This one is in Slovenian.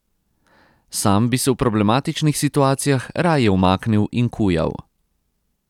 Sam bi se v problematičnih situacijah raje umaknil in kujal.